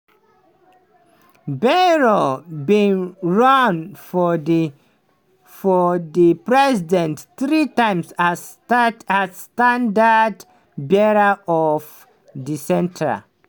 bayrou bin run for di for di presidency three times as standard-bearer of di centre.